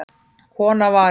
Kona var í